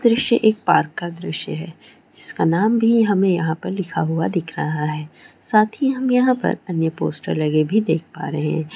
दृश्य एक पार्क -का दृश्य है जिसका नाम भी हमें यहां पर लिखा हुआ दिख रहा है साथ ही हम यहां पर अन्य पोस्टर लगे भी देख पा रहे हैं।